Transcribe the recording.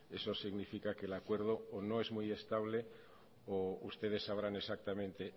eso significa que el acuerdo o no es muy estable o ustedes sabrán exactamente